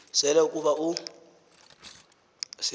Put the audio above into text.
sela ukuba uy